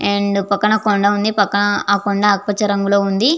And పక్కన కొండ వుంది పక్కన ఆ కొండ ఆకు పచ్చ రంగు లో ఉంది.